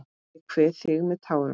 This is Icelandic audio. Ég kveð þig með tárum.